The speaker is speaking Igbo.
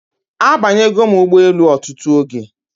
Abanya go m Ugbo elu otutu oge